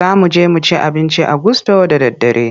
Za mu je mu ci abinci a gusto da daddare.